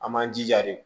An man jija de